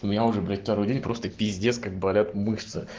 у меня уже блять второй день просто пиздец как болят мышцы